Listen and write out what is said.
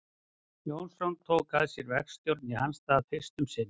Jónsson tók að sér verkstjórn í hans stað fyrst um sinn.